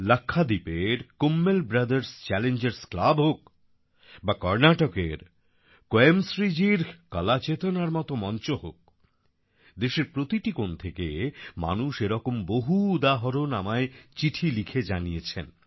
লাক্ষাদ্বীপের Kummel Brothers Challengers Club হোক বা কর্ণাটকের কোয়েমশ্রী জির কলা চেতনার মতো মঞ্চ হোক দেশের প্রতিটি কোন থেকে মানুষ এরকম বহু উদাহরণ আমায় চিঠি লিখে জানিয়েছেন